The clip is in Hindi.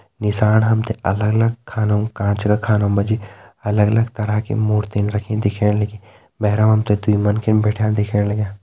नीसाण हम ते अलग अलग खानों काँच का खानों मा जी अलग अलग तरह की मूर्तिन रखीं दिखेण लगीं भैर मा हम ते दुई मन्खिन बैठ्याँ दिखेण लग्यां।